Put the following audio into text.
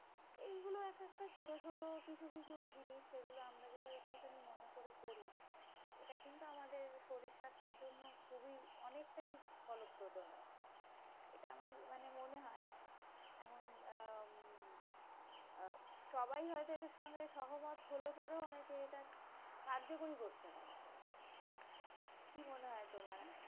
এটা আমার মনে মনে হয়। এমন উম সবাই হয়তো এটার সঙ্গে সহমত হলে পরেও অনেকে এটা কার্যকরী করতে পারে না কি মনে হয় তোমার